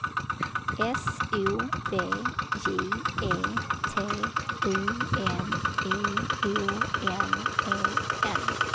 S O V J E T U N I O N E N